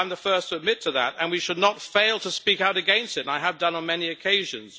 I am the first to admit to that, and we should not fail to speak out against, and I have done on many occasions.